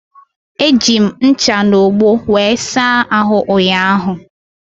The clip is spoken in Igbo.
Eji m ncha na ogbo wee saa ahụ ụnyaahụ.